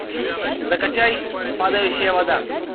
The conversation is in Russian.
закачай падающая вода